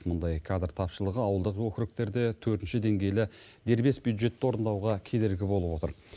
мұндай кадр тапшылығы ауылдық округтерде төртінші деңгейлі дербес бюджетті орындауға кедергі болып отыр